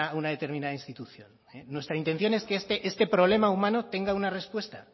una determinada institución nuestra intención es que este problema humano tenga una respuesta